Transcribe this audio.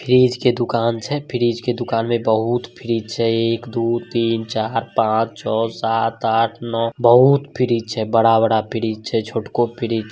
fridge के दुकान छै फ्रीज के दुकान में बहुत फ्रीज छै एक दो तीन चार पांच छ सात आठ नो बहुत फ्रीज छै बड़ा-बड़ा फ्रीज छै छोट को फ्रीज --